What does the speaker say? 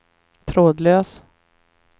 trådlös